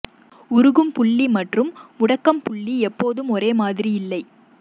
உருகும் புள்ளி மற்றும் முடக்கம் புள்ளி எப்போதும் ஒரே மாதிரி இல்லை